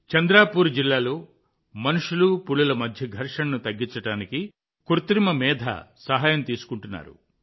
చంద్రాపూర్ జిల్లాలో మనుషులు పులుల మధ్య ఘర్షణను తగ్గించడానికి కృత్రిమ మేధ సహాయం తీసుకున్నారు